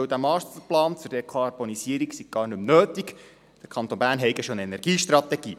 Denn der Masterplan für die Dekarbonisierung sei gar nicht mehr nötig, der Kanton Bern habe ja bereits eine Energiestrategie.